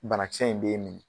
Bana kisɛ in b'e m